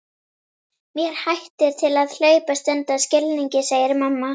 Mér hættir til að hlaupast undan skilningi, segir mamma.